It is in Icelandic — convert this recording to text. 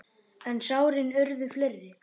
En sárin urðu fleiri.